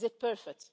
Is it perfect?